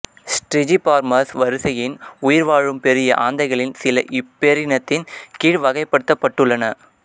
Strigiformes வரிசையின் உயிர்வாழும் பெரிய ஆந்தைகளில் சில இப்பேரினத்தின் கீழ் வகைப்படுத்தப்பட்டுள்ளன